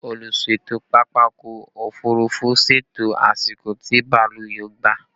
Olùṣètò pápákọ̀ òfurufú ṣètò àsìkò tí bàálù yóò ba